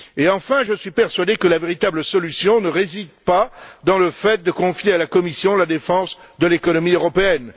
Enfin, je suis persuadé que la véritable solution ne réside pas dans le fait de confier à la Commission la défense de l'économie européenne.